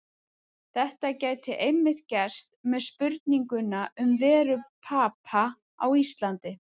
Þetta gæti einmitt gerst með spurninguna um veru Papa á Íslandi.